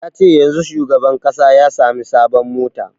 Ya ce yanzun shugaban ƙasa ya sami sabon mota